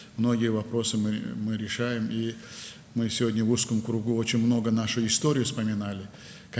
Bir çox məsələləri həll edirik və bu gün dar çərçivədə tariximizi çox xatırladıq.